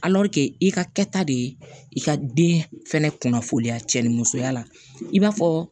i ka kɛta de ye i ka den fɛnɛ kunnafoniya cɛnni musoya la i b'a fɔ